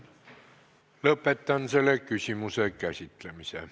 Lõpetan selle küsimuse käsitlemise.